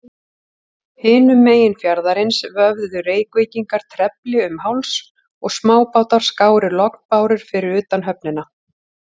Hinum megin fjarðarins vöfðu Reykvíkingar trefli um háls, og smábátar skáru lognbárur fyrir utan höfnina.